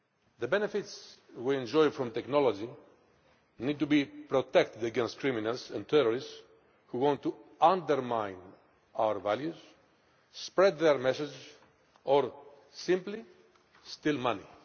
The benefits we enjoy from technology need to be protected against criminals and terrorists who want to undermine our values, spread their message or simply steal money.